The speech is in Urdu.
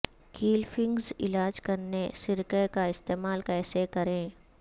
کیل فنگس علاج کرنے سرکہ کا استعمال کیسے کریں